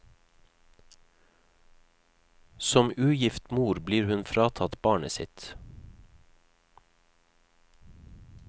Som ugift mor blir hun fratatt barnet sitt.